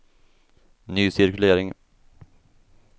ny cirkulering